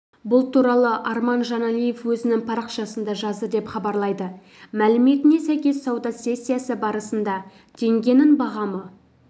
бұл туралы арман жаналиев өзінің парақшасында жазды деп хабарлайды мәліметіне сәйкес сауда сессиясы барысында теңгенің бағамы